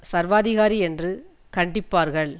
சர்வாதிகாரி என்று கண்டிப்பார்கள்